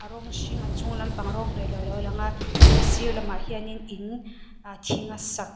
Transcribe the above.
a rawng hring a chunglam pang rawng hnawih loh alo lang a tin a sir lamah hian in thing a sak--